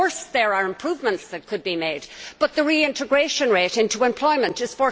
Of course there are improvements which could be made but the reintegration rate into employment is